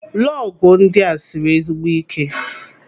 Lọgụ ndị a siri ezigbo ike.